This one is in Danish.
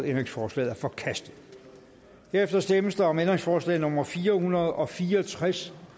ændringsforslaget er forkastet der stemmes om ændringsforslag nummer fire hundrede og fire og tres